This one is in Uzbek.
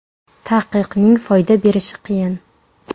Taqiqning foyda berishi qiyin.